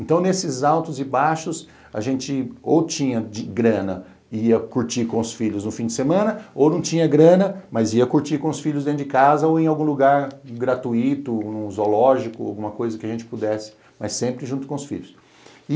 Então, nesses altos e baixos, a gente ou tinha grana e ia curtir com os filhos no fim de semana, ou não tinha grana, mas ia curtir com os filhos dentro de casa ou em algum lugar gratuito, num zoológico, alguma coisa que a gente pudesse, mas sempre junto com os filhos.